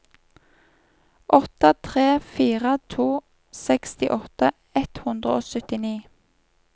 åtte tre fire to sekstiåtte ett hundre og syttini